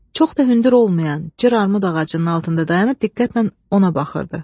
Çox da hündür olmayan cır armud ağacının altında dayanıb diqqətlə ona baxırdı.